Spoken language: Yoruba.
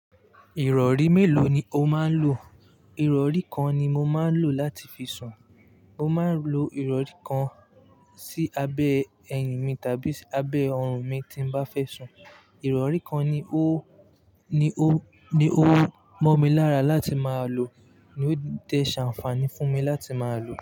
Ìrọ̀rí mélòó ni o máa ń lò? Ìrọ̀rí kan ni mo máa ń lò láti fi sùn. Mo máa ń lo Ìrọ̀rí kan sí abẹ́ eyín mi tàbí abẹ́ ọrùn mi tí n bá fẹ́ sùn. Ìrọ̀rí kan ni o, ni o, ni o mọ̀ mí lára láti máa lò ni ó dẹ̀ ṣàǹfààní fún mi láti máa lò.